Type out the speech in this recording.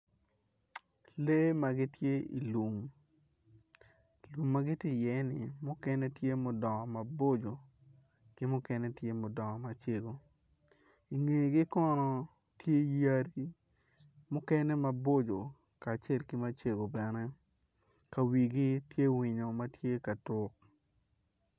Lee ma gitye i lum lum ma gitye iye-ni mukene tye ma gudongo maboco ki mukene tye mudongo macego ingegi kono tye yadi mukene maboco kacel ki macego bene ka wigi tye winyo ma tye ka tuk.